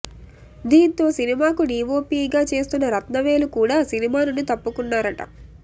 దీంతో సినిమాకు డీవోపీగా చేస్తున్న రత్నవేలు కూడ సినిమా నుండి తప్పుకున్నారట